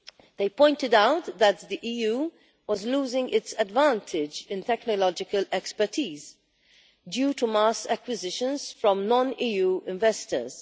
They pointed out that the EU was losing its advantage in technological expertise due to mass acquisitions from non EU investors.